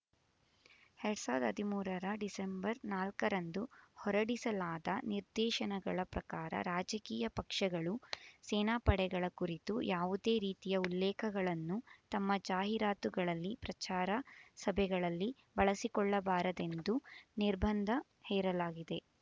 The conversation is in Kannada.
ಎರಡ್ ಸಾವಿರದ ಹದಿಮೂರರ ಡಿಸೆಂಬರ್ ನಾಲ್ಕರಂದು ಹೊರಡಿಸಲಾದ ನಿರ್ದೇಶನಗಳ ಪ್ರಕಾರ ರಾಜಕೀಯ ಪಕ್ಷಗಳು ಸೇನಾಪಡೆಗಳ ಕುರಿತು ಯಾವುದೇ ರೀತಿಯ ಉಲ್ಲೇಖಗಳನ್ನು ತಮ್ಮ ಜಾಹೀರಾತುಗಳಲ್ಲಿ ಪ್ರಚಾರ ಸಭೆಗಳಲ್ಲಿ ಬಳಸಿಕೊಳ್ಳಬಾರದೆಂದು ನಿರ್ಬಂಧ ಹೇರಲಾಗಿದೆ